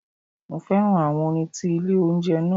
Mo fẹ́ràn àwọn orin tí ilé oúnjẹ náà.